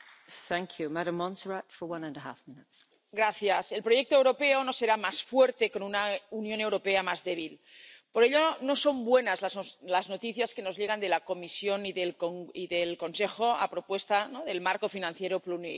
Señora presidenta, el proyecto europeo no será más fuerte con una Unión Europea más débil. Por ello, no son buenas las noticias que nos llegan de la Comisión y del Consejo a propuesta del marco financiero plurianual.